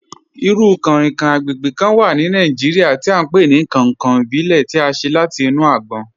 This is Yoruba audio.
Irú kán-rinkan agbègbè kán wà ní Nàìjíríà tí à n pe ni 'kankan ìbílè' tí à ṣe láti inú àgbòn.